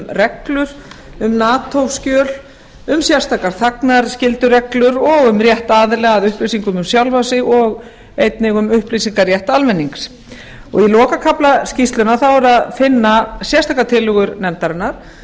reglur um nato skjöl um sérstakar þagnarskyldureglur og um rétt aðila að upplýsingum um sjálfan sig og einnig um upplýsingarétt almennings í lokakafla skýrslunnar er að finna sérstakar tillögur nefndarinnar